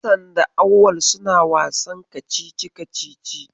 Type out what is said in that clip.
Hassan da Auwal suna wasan kacici-kacici.